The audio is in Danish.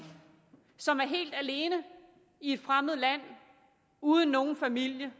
og som er helt alene i et fremmed land uden nogen familie